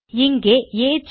இங்கே ஏஜ்